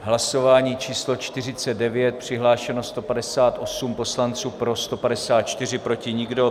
Hlasování číslo 49, přihlášeno 158 poslanců, pro 154, proti nikdo.